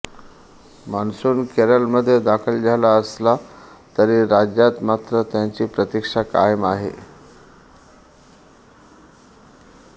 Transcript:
monsoon केरळमध्ये दाखल झाला असला तरी राज्यात मात्र त्याची प्रतिक्षा कायम आहे